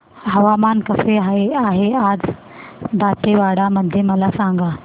हवामान कसे आहे आज दांतेवाडा मध्ये मला सांगा